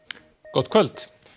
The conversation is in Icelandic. gott kvöld